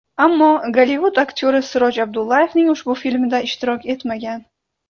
Ammo Gollivud aktyori Siroj Abdullayevning ushbu filmida ishtirok etmagan.